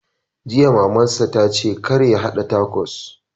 Jiya Maman sa ce kar ya haɗa takos!